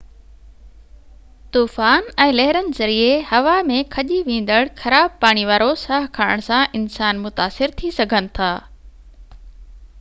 طوفان ۽ لهرن ذريعي هوا ۾ کڄي ويندڙ خراب پاڻي وارو ساهه کڻڻ سان انسان متاثر ٿي سگهن ٿا